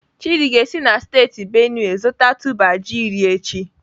Chidi ga-esi na steeti Benue zụta tuber ji iri echi.